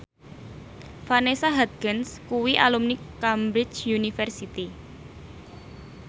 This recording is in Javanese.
Vanessa Hudgens kuwi alumni Cambridge University